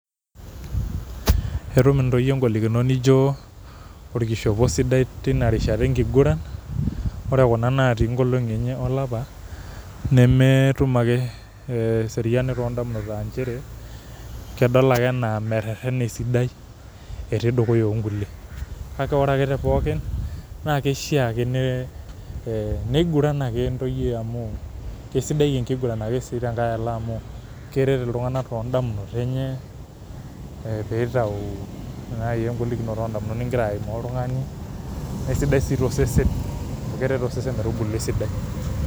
Etum ntoyie ngolikinot nijo orkishopo sidai tinarishata enkiguran, ore kuna natii nkolongi enye olapa nemetum ake eseriani tondamunot aanchere kedol ake anaa meterena esidai ,etii dukuya onkulie, kake ore ake tepookin nakishaa ake nye niguran ake ntoyie amu kesidai ake nkiguran tenkae alo amu keret ltunganak tondamunot enye nitau nai engolikino oondamunot ningira aimaa oltungani na kesidai siitosesen amu keret osesen metubulu esidai.